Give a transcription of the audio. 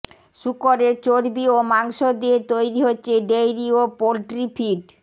শুকরের চর্বি ও মাংস দিয়ে তৈরি হচ্ছে ডেইরি ও পোল্ট্রি ফিড